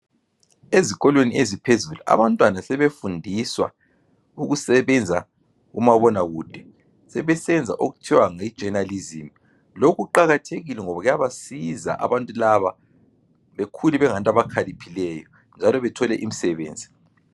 Ezikolweni eziphezulu abantwana sebefundiswa ukusebenza kumabonakude. Sebesenza okuthiwa yi journalism, lokhu kuqakathekile ngoba kuyabasiza abantu laba, bekhule bengabantu abakhaliphileyo njalo bethole imisebenzi.